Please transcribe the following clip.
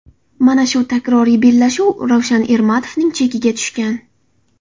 Mana shu takroriy bellashuv Ravshan Ermatovning chekiga tushgan.